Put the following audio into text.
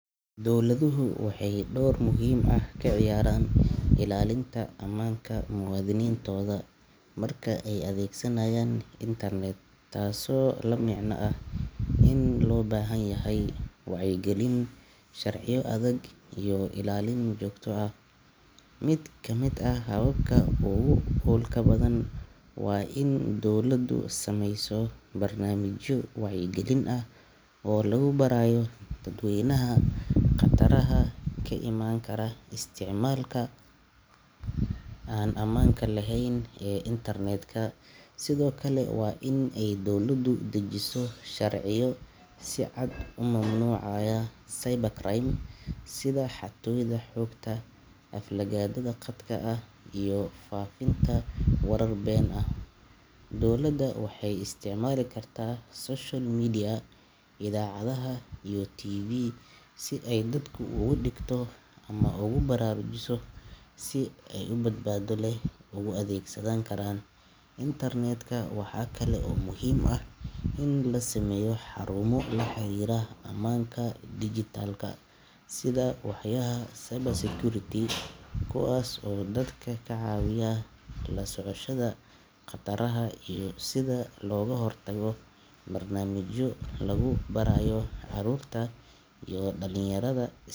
Dowladuhu waxay door muhiim ah ka ciyaaraan ilaalinta ammaanka muwaadiniintooda marka ay adeegsanayaan internet, taasoo la micno ah in loo baahan yahay wacyigelin, sharciyo adag iyo ilaalin joogto ah. Mid ka mid ah hababka ugu wax ku oolka badan waa in dowladdu samayso barnaamijyo wacyigelin ah oo lagu barayo dadweynaha khataraha ka iman kara isticmaalka aan ammaanka lahayn ee internetka. Sidoo kale, waa in ay dowladdu dejisaa sharciyo si cad u mamnuucaya cybercrime sida xatooyada xogta, aflagaadada khadka ah, iyo faafinta warar been ah. Dowladda waxay isticmaali kartaa social media, idaacadaha, iyo TV si ay dadka ugu digto ama ugu baraarujiso sida ay si badbaado leh ugu adeegsan karaan internetka. Waxaa kale oo muhiim ah in la sameeyo xarumo la xiriira amaanka digitalka sida waaxyaha cybersecurity, kuwaas oo dadka ka caawiya la socoshada khataraha iyo sida looga hortago. Barnaamijyo lagu barayo carruurta iyo dhalinyarada is.